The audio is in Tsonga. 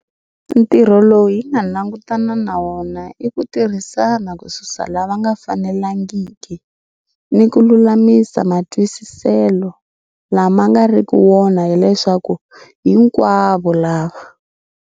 Ntirho lowu hi nga langu tana na wona i ku tirhisana kususa lava nga fanelangiki, ni ku lulamisa matwisiselo lama nga riki wona ya leswaku hinkwavo lava.